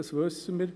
Das wissen wir.